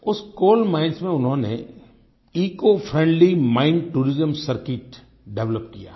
उस coal mines में उन्होंने eco friendly mine tourism circuit develop किया है